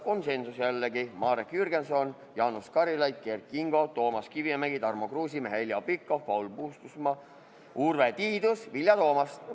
Jällegi olid konsensuslikult poolt Marek Jürgenson, Jaanus Karilaid, Kert Kingo, Toomas Kivimägi, Tarmo Kruusimäe, Heljo Pikhof, Paul Puustusmaa, Urve Tiidus ja Vilja Toomast.